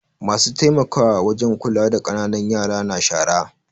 Masu taimakawa wajen kula da ƙananan yara na shara.